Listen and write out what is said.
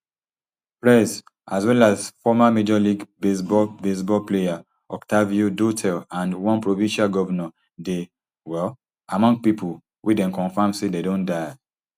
prez as well as former major league baseball baseball player octavio dotel and one provincial govnor dey um among pipo wey dem confam say dem don die